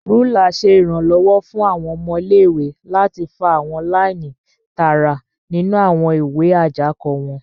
Rúlà ṣe iranlọwọ fún awọn ọmọ ilé-ìwé láti fa awọn laini tààrà nínú awọn ìwé ajako wọn.